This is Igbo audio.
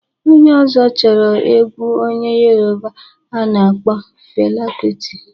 Onye ọzọ chọrọ egwu onye Yoroba a na-akpọ Fela kuti.